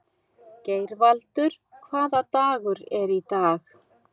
Geirvaldur, hvaða dagur er í dag?